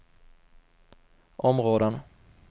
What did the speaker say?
områden